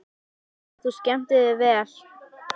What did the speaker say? Ég vona að þú skemmtir þér vel!